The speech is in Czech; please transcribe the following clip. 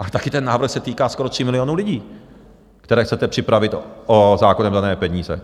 Ale také ten návrh se týká skoro 3 milionů lidí, které chcete připravit o zákonem dané peníze.